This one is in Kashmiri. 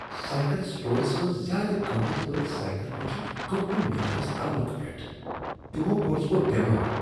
سایکل سٹورس منٛز زیٛادٕ قۭمتھ وٲلۍ سایکل ؤچھتھ گوٚو مے٘ میٛادس تلُک پٮ۪ٹھ ۔ تمو کوٚرہس بہٕ بٮ۪مار۔